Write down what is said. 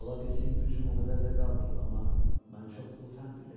Ola bilsin gücüm o qədər də qalmayıb, amma mən çoxlu fənd bilirəm.